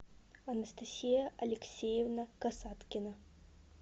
анастасия алексеевна касаткина